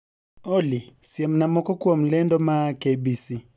olly siemna moko kuom lendo maa k.b.c